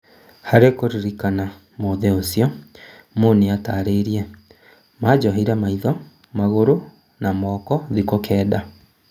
Harĩ kũririkana mũthĩ ũcio, Mo nĩatarĩirie, "Manjohire maitho, magũrũ na moko thikũ kenda.